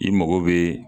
I mago bɛ